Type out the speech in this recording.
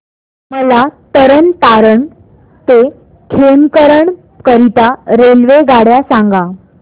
मला तरण तारण ते खेमकरन करीता रेल्वेगाड्या सांगा